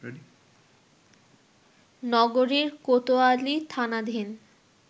নগরীর কোতোয়ালি থানাধীন